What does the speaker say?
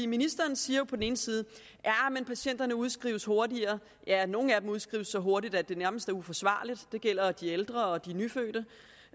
ministeren siger på den ene side at patienterne udskrives hurtigere ja nogle af dem udskrives så hurtigt at det nærmest er uforsvarligt det gælder de ældre og de nyfødte